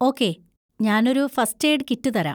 Okay, ഞാനൊരു first aid kit തരാം.